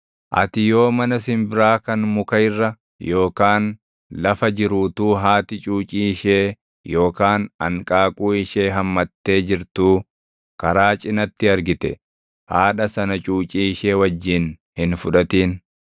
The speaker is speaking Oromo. Ati yoo mana simbiraa kan muka irra yookaan lafa jiru utuu haati cuucii ishee yookaan anqaaquu ishee hammattee jirtuu karaa cinatti argite haadha sana cuucii ishee wajjin hin fudhatin;